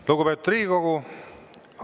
Lugupeetud Riigikogu!